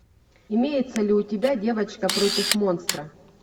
имеется ли у тебя девочка против монстра